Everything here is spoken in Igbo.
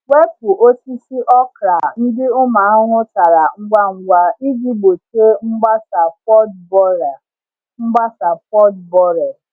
Wepu osisi okra ndị ụmụ ahụhụ tara ngwa ngwa iji gbochie mgbasa pod borer. mgbasa pod borer.